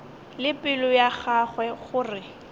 le pelo ya gagwe gore